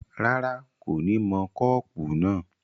rárá, kò ní mọ kọ́pù náà